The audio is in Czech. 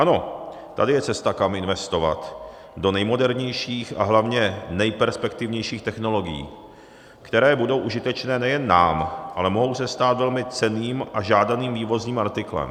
Ano, tady je cesta, kam investovat, do nejmodernějších a hlavně nejperspektivnějších technologií, které budou užitečné nejen nám, ale mohou se stát velmi cenným a žádaným vývozním artiklem.